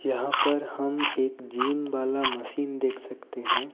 यहां पर हम एक जिम वाला मशीन देख सकते हैं।